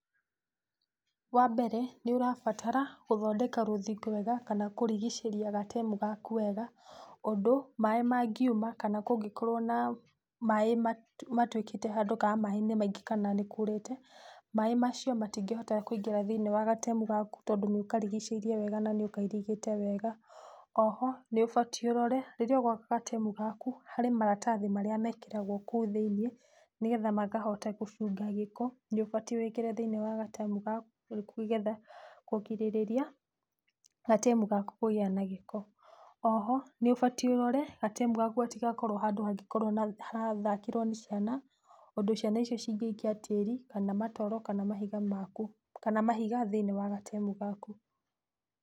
Wambere, nĩũrabatara gũthondeka rũthingo wega kana kũrigicĩria gatemu gaku wega ũndũ maaĩ mangĩuma kana kũngĩkorwo na maaĩ matuĩkĩte handũ kana maaĩ nĩ maingĩ kana nĩ kurĩte, maaĩ macio matingĩhota kũingĩra thĩiniĩ wa gatemu gaku tondũ nĩ ũkarigicĩirie wega na nĩũkairigĩte wega. Oho nĩ ũbatiĩ ũrore rĩrĩa ũgwaka gatemu gaku harĩ maratathi marĩa mekĩragwo kũu thĩiniĩ nĩgetha makahota gũcunga gĩko, nĩ ũbatiĩ wĩkĩre thiĩniĩ wa gatemu gaku nĩgetha kũgirĩrĩria gatemu gaku kũgĩa na gĩko. Oho nĩ ũbatiĩ ũrore gatemu gaku gatigakorwo handũ hangĩkorwo na, harathakĩrwo nĩ ciana, ũndũ ciana icio cingĩikia tĩri kana matoro kana mahiga maku, kana mahiga thĩiniĩ wa gatemu gaku.